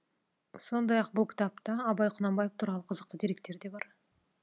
сондай ақ бұл кітапта абай құнанбаев туралы қызықты деректер де бар